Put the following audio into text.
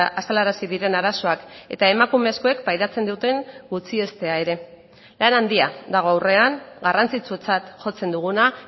azalarazi diren arazoak eta emakumezkoek pairatzen duten gutxiestea ere lan handia dago aurrean garrantzitsutzat jotzen duguna